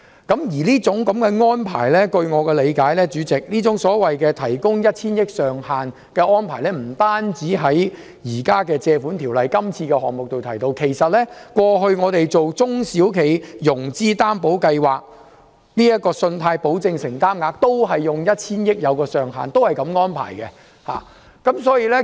代理主席，據我理解，這種提供 1,000 億元上限的安排，並非只見於現時根據《借款條例》提出的擬議決議案，過去我們推行中小企融資擔保計劃時，信貸保證承擔額亦是以 1,000 億元為上限，是同樣的安排。